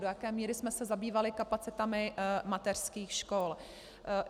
Do jaké míry jsme se zabývali kapacitami mateřských škol?